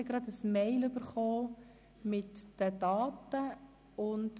Sie werden heute noch eine E-Mail mit den Daten erhalten.